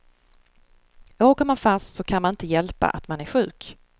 Åker man fast så kan man inte hjälpa att man är sjuk.